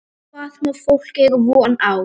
Hvað má fólk eiga von á?